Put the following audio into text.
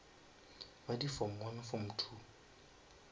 ba di form form